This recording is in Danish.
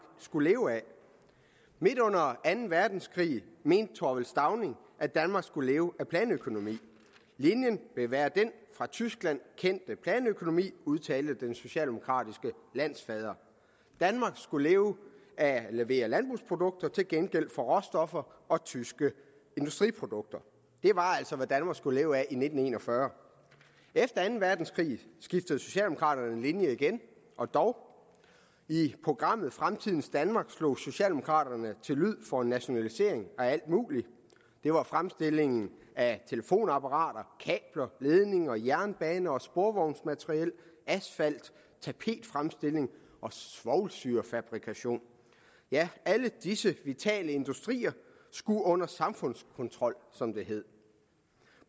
skulle leve af midt under anden verdenskrig mente thorvald stauning at danmark skulle leve af planøkonomi linjen vil være den fra tyskland kendte planøkonomi udtalte den socialdemokratiske landsfader danmark skulle leve af at levere landbrugsprodukter til gengæld for råstoffer og tyske industriprodukter det var altså hvad danmark skulle leve af i nitten en og fyrre efter anden verdenskrig skiftede socialdemokraterne linje igen og dog i programmet fremtidens danmark slog socialdemokraterne til lyd for en nationalisering af alt muligt det var fremstilling af telefonapparater kabler ledninger jernbaner og sporvognsmateriel asfalt tapetfremstilling og svovlsyrefabrikation ja alle disse vitale industrier skulle under samfundskontrol som det hed